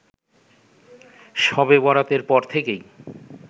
শবে বরাতের পর থেকেই